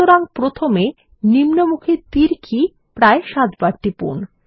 সুতরাং প্রথমে নিম্নমুখী তীর কি প্রায় সাতবার টিপুন